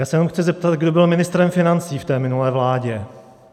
Já se jenom chci zeptat, kdo byl ministrem financí v té minulé vládě?